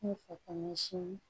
N fɛ ka ɲɛsin